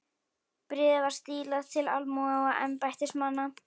Bréfið var stílað til almúga og embættismanna.